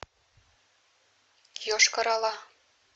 йошкар ола